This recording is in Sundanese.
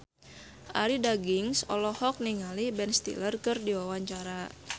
Arie Daginks olohok ningali Ben Stiller keur diwawancara